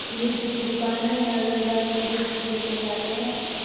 Music की दुकान है यहाँ लोग-बाग म्यूजिक सीखने के लिए आते है।